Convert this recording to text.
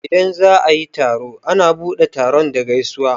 Idan za'a yi taro a na buɗe taron da gaisuwa.